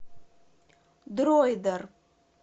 дроидер